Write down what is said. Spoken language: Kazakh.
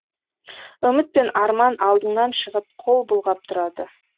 үміт пен арман алдыңнан шығып қол бұлғап тұрады